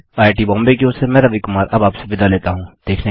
IIT Bombay की ओर से मैं रवि कुमार अब आपसे विदा लेता हूँ